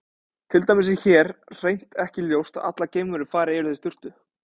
Til dæmis er hér hreint ekki ljóst að allar geimverur fari yfirleitt í sturtu.